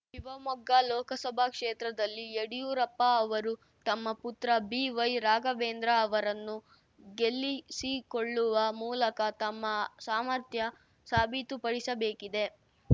ಶಿವಮೊಗ್ಗ ಲೋಕಸಭಾ ಕ್ಷೇತ್ರದಲ್ಲಿ ಯಡಿಯೂರಪ್ಪ ಅವರು ತಮ್ಮ ಪುತ್ರ ಬಿವೈರಾಘವೇಂದ್ರ ಅವರನ್ನು ಗೆಲ್ಲಿಸಿಕೊಳ್ಳುವ ಮೂಲಕ ತಮ್ಮ ಸಾಮರ್ಥ್ಯ ಸಾಬೀತುಪಡಿಸಬೇಕಿದೆ